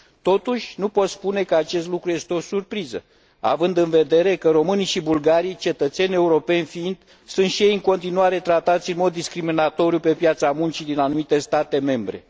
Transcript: Totuși, nu pot spune că acest lucru este o surpriză, având în vedere că românii și bulgarii, cetățeni europeni fiind, sunt și ei în continuare tratați în mod discriminatoriu pe piața muncii din anumite state membre.